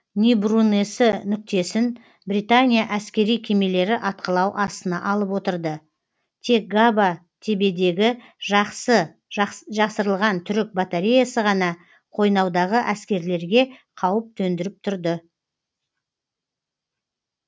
нибрунесі нүктесін британия әскери кемелері атқылау астына алып отырды тек габа тебедегі жақсы жасырылған түрік батареясы ғана қойнаудағы әскерлерге қауіп төндіріп тұрды